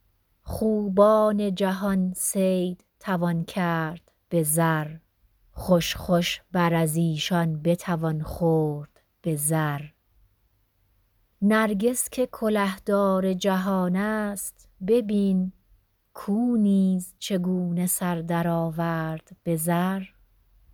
خوبان جهان صید توان کرد به زر خوش خوش بر از ایشان بتوان خورد به زر نرگس که کله دار جهان است ببین کاو نیز چگونه سر درآورد به زر